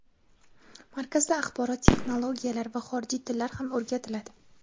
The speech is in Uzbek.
Markazda axborot texnologiyalari va xorijiy tillar ham o‘rgatiladi.